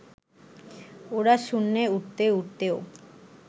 ওরা শূন্যে উড়তে উড়তেও